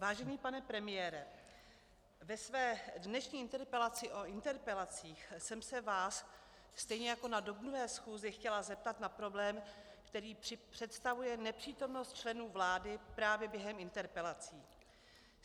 Vážený pane premiére, ve své dnešní interpelaci o interpelacích jsem se vás stejně jako na dubnové schůzi chtěla zeptat na problém, který představuje nepřítomnost členů vlády právě během interpelací.